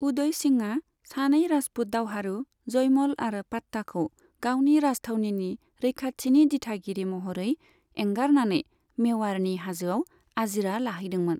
उदय सिंहआ सानै राजपूत दावहारु जयमल आरो पाट्टाखौ गावनि राजथावनिनि रैखाथिनि दिथागिरि महरै एंगारनानै मेवाड़नि हाजोआव आजिरा लाहैदोंमोन।